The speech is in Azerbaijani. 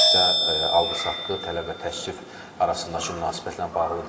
Bu təkcə alqı-satqı, tələb və təklif arasındakı münasibətlə bağlı deyil.